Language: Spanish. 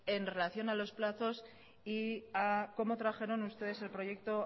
en relación a los plazos y a cómo trajeron ustedes el proyecto